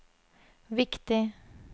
viktig